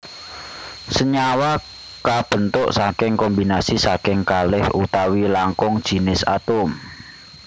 Senyawa kabentuk saking kombinasi saking kalih utawi langkung jinis atom